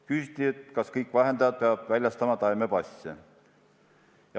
Küsiti, kas kõik vahendajad peavad väljastama taimepasse.